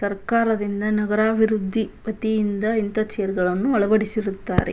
ಸರಕಾರದಿಂದ ನಗರಾಭಿವೃದ್ಧಿ ವತಿಯಿಂದ ಇಂತ ಚೇರ್ ಗಳನ್ನೂ ಅಳವಡಿಸಿರುತ್ತಾರೆ.